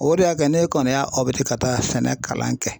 O de y'a kɛ ne kɔni y'a ka taa sɛnɛ kalan kɛ